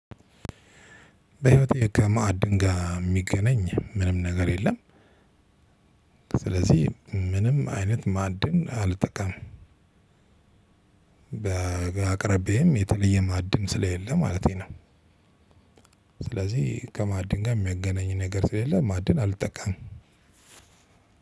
በህይወቴ ከመዓድን የሚገናኝ ምንም ነገር የለም ስለዚህ ምንም አይነት ማዕድን አልጠቀምም። በአቅራቢያዬም የተለየ ማዕድን ስለሌለ ማለቴ ነው ስለዚህ ከማዕድን ጋር የሚያገናኝ ነገር ስለሌለ ማዕድን አልጠቀምም